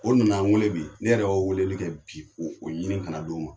O nana wele bi, ne yɛrɛ y'o weleli kɛ bi , ko o ɲini ka na d'o ma.